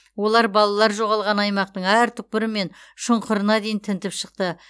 олар балалар жоғалған аймақтың әр түкпірі мен шұңқырына дейін тінтіп шықты